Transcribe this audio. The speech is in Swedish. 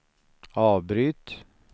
avbryt